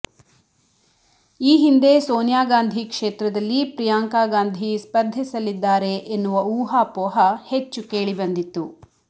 ಈ ಹಿಂದೆ ಸೋನಿಯಾ ಗಾಂಧಿ ಕ್ಷೇತ್ರದಲ್ಲಿ ಪ್ರಿಯಾಂಕಾ ಗಾಂಧಿ ಸ್ಪರ್ಧಿಸಲಿದ್ದಾರೆ ಎನ್ನುವ ಊಹಾಪೋಹ ಹೆಚ್ಚು ಕೇಳಿ ಬಂದಿತ್ತು